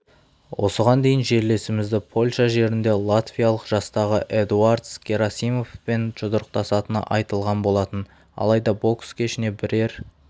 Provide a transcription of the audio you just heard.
осыған дейін жерлесімізді польша жерінде латвиялық жастағы эдуардс герасимовспен жұдырықтасатыны айтылған болатын алайда бокс кешіне бірер